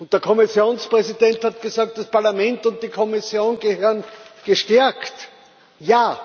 Der Kommissionspräsident hat gesagt Das Parlament und die Kommission müssen gestärkt werden.